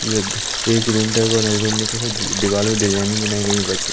जद एक room decor है रूम में कैसे दी दीवाल में डिजाइनिंग बनाई गई व्हाइट क --